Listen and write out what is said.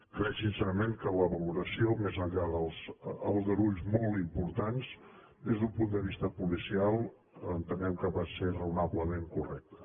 crec sincerament que la valoració més enllà dels aldarulls molt importants des d’un punt de vista policial entenem que va ser raonablement correcta